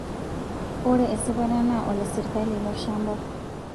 Ore esipata naa ole sirkali ilo shamba